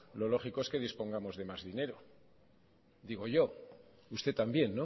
lo lógico es que dispongamos de más dinero digo yo usted también